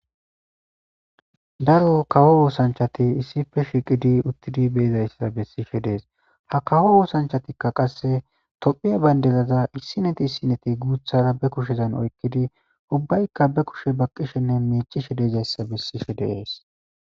Daro kawo osanchati issipe shiqidi utidi be'zaysa besishe de'es zaysa ha kawo osanchatika qase topia bandiraza issinipe issinipe guta be kushezan oykidi ubayika be kushe baqishene mic'ishe dizaysa besishe de'es.